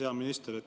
Hea minister!